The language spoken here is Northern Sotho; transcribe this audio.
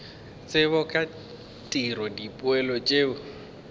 tsebo ka tiro dipoelo tšeo